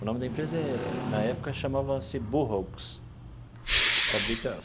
O nome da empresa, na época, chamava-se Burroughs fabrica.